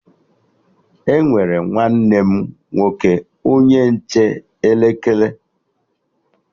Emere nwanne m nwoke onye nche elekere